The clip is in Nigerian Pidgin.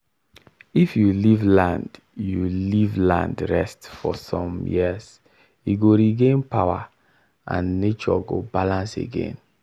if you leave land you leave land rest for some years e go regain power and nature go balance again.